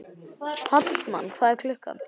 Hallmann, hvað er klukkan?